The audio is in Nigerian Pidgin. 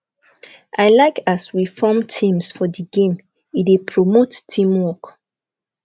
i like as we form teams for di games e dey promote teamwork